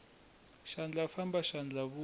xandla famba xandla vuya